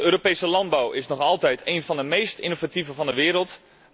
De Europese landbouw is nog altijd één van de meest innovatieve van de wereld.